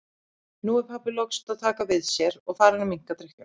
Nú er pabbi loks að taka við sér og farinn að minnka drykkjuna.